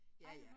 Ja ja